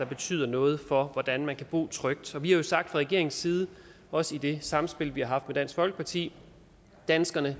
betyder noget for hvordan man kan bo trygt vi har jo sagt fra regeringens side også i det samspil vi har haft med dansk folkeparti at danskerne